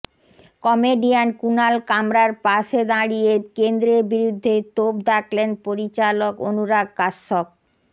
comedian Kunal কামরার পাশে দাঁড়িয়ে কেন্দ্রের বিরুদ্ধে তোপ দাগলেন পরিচালক অনুরাগ কাশ্যপ